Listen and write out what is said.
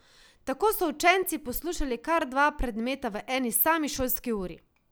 Tako so učenci poslušali kar dva predmeta v eni sami šolski uri.